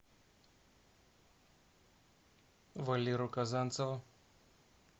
валеру казанцева